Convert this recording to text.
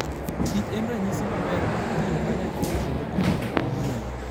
kich en ranyisi maber mar tiyo kanyachiel kendo timo gik manyien.